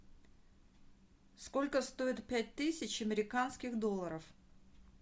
сколько стоит пять тысяч американских долларов